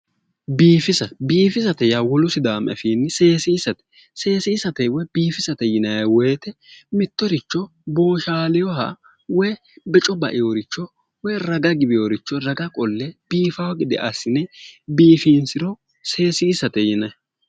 Biifisa yaa wolu sidaamu afiinni seessisate, seessisate woy biifusate yinay woyte mittoricho booshaaleha woy beco baewooricho woy raga giweeworicho raga qolle biifa gede assi'ne biiffinsiro seessisate yinay.